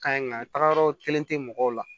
Ka ɲi nka yɔrɔ kelen tɛ mɔgɔw la